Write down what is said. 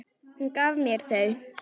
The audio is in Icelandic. Hún gaf mér þau.